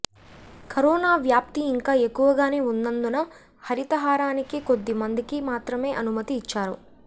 corona వ్యాప్తి ఇంకా ఎక్కువగానే ఉన్నందున హరితహారానికి కొద్దిమందికి మాత్రమే అనుమతి ఇచ్చారు